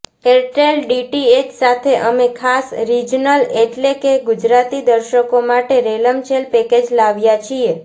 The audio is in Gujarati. એરટેલ ડીટીએચ સાથે અમે ખાસ રિજનલ એટલે કે ગુજરાતી દર્શકો માટે રેલમછેલ પેકેજ લાવ્યા છીએ